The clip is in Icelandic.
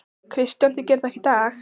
Kristján: Þið gerið það ekki í dag?